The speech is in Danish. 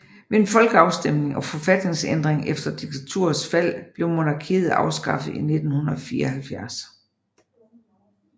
Ved en folkeafstemning og forfatningsændring efter diktaturets fald blev monarkiet afskaffet i 1974